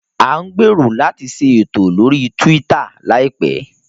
À ń gbèrò láti ṣe ètò lórí Twitter láìpẹ́